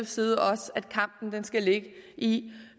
side også at kampen skal ligge i